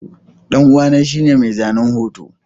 ɗan'uwa shine mai zanen hoto.